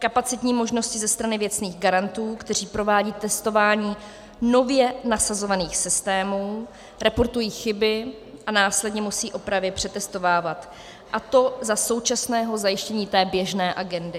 kapacitní možnosti ze strany věcných garantů, kteří provádějí testování nově nasazovaných systémů, reportují chyby a následně musí opravy přetestovávat, a to za současného zajištění té běžné agendy;